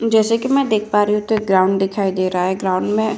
जैसे की मैं देख पा रही हूँ तो एक ग्राउंड दिखाई दे रहा है। ग्राउंड में --